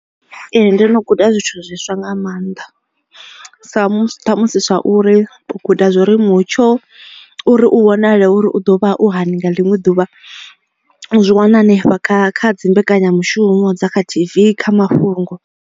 Ee ndo no guda zwithu zwiswa nga maanḓa sa ṱhamusi zwa uri u guda zwori mutsho uri u vhonale uri u ḓo vha u hani nga ḽiṅwe ḓuvha u zwi wana hanefha kha kha dzimbekenyamushumo dza kha T_V kha mafhungo.